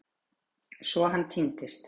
Svo hann týndist.